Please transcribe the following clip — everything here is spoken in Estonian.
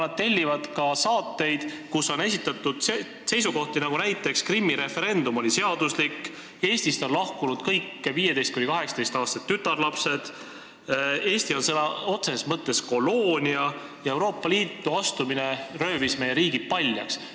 Nad tellivad ka saateid, kus on esitatud näiteks selliseid seisukohti, et Krimmi referendum oli seaduslik, Eestist on lahkunud kõik 15–18-aastased tütarlapsed, Eesti on sõna otseses mõttes koloonia ja Euroopa Liitu astumine röövis meie riigi paljaks.